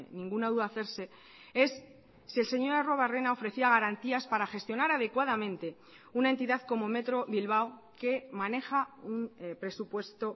ninguna duda hacerse es si el señor arruebarrena ofrecía garantías para gestionar adecuadamente una entidad como metro bilbao que maneja un presupuesto